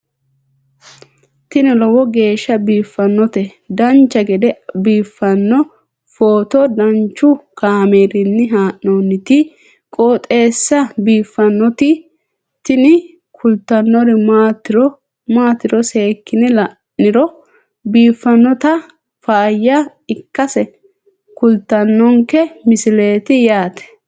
tini lowo geeshsha biiffannoti dancha gede biiffanno footo danchu kaameerinni haa'noonniti qooxeessa biiffannoti tini kultannori maatiro seekkine la'niro biiffannota faayya ikkase kultannoke misileeti yaate